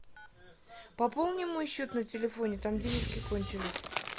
пополни мой счет на телефоне там денежки кончились